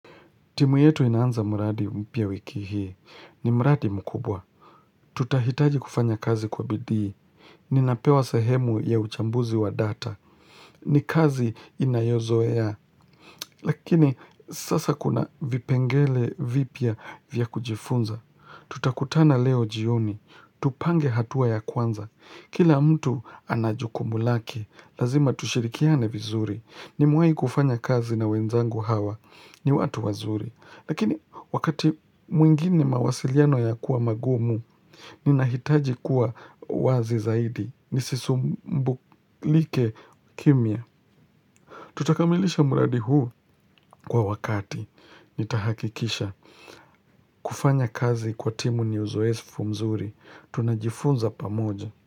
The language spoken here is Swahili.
Timu yetu inaanza mradi mpya wiki hii. Ni mradi mkubwa. Tutahitaji kufanya kazi kwa bidii. Ninapewa sahemu ya uchambuzi wa data. Ni kazi inayozoea. Lakini sasa kuna vipengele vipia vya kujifunza. Tutakutana leo jioni. Tupange hatua ya kwanza. Kila mtu anajukumu lake. Lazima tushirikiane vizuri. Nimewai kufanya kazi na wenzangu hawa. Ni watu wazuri. Lakini wakati mwingine mawasiliano ya kuwa magumu, ninahitaji kuwa wazi zaidi. Nisisumbu like kimia. Tutakamilisha muradi huu kwa wakati. Nitahakikisha. Kufanya kazi kwa timu ni uzoesifu mzuri. Tunajifunza pamoja.